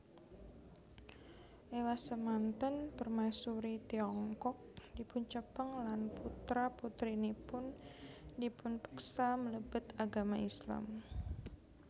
Ewasemanten Permaisuri Tiongkok dipuncepeng lan putra putrinipun dipunpeksa mlebet agama Islam